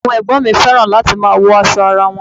Àwọn ẹ̀gbọ́n mi fẹ́ràn láti máa wọṣọ ara won.